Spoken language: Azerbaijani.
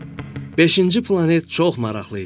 Beşinci planet çox maraqlı idi.